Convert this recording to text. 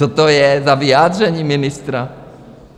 Co to je za vyjádření ministra?